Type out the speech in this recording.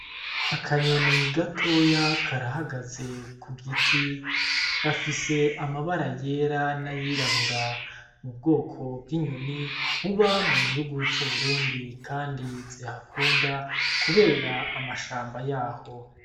Akanyoni gatoya karahagaze kugiti gafise amabara yera n'ayirabura, n'ubwoko bw'inyoni buba mugihugu c'Uburundi kandi zihakunda kubera amshamba yaho.